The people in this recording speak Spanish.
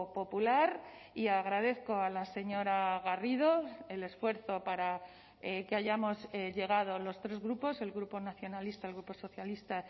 popular y agradezco a la señora garrido el esfuerzo para que hayamos llegado los tres grupos el grupo nacionalista el grupo socialista